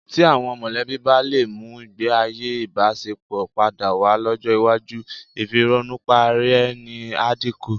Tí àwọn mọ̀lẹ́bí bá lè mú ìgbéayé ìbáṣepọ̀ padà wá lọ́jọ́ iwájú, ìfìrònùparaẹni á dínkù.